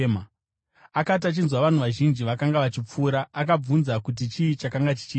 Akati achinzwa vanhu vazhinji vakanga vachipfuura, akabvunza kuti chii chakanga chichiitika.